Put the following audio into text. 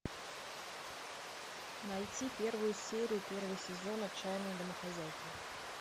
найти первую серию первого сезона отчаянные домохозяйки